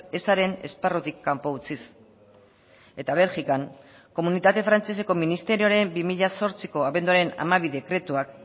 ezaren esparrutik kanpo utziz eta belgikan komunitate frantseseko ministerioaren bi mila zortziko abenduaren hamabi dekretuak